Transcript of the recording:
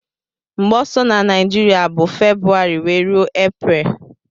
Mgbe ọsọ na naijiria bu february wee rue apriel.